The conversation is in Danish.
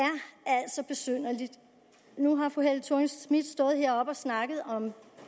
altså besynderligt nu har fru helle thorning schmidt stået heroppe og snakket om